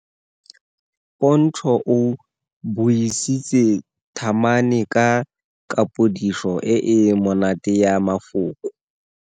Pontsho o buisitse thamane ka kapodiso e e monate ya mafoko.